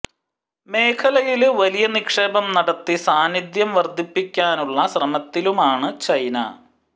മേഖലയില് വലിയ നിക്ഷേപം നടത്തി സാന്നിധ്യം വര്ധിപ്പിക്കാനുളള ശ്രമത്തിലുമാണ് ചൈന